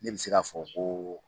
Ne bɛ se k'a fɔ ko